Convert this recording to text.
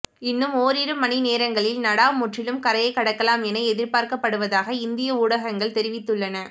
இன்னும் ஓரிரு மணி நேரங்களில் நடா முற்றிலும் கரையை கடக்கலாம் என எதிர்பார்க்கப்படுவதாக இந்திய ஊடகங்கள் தெரிவித்துள்ளன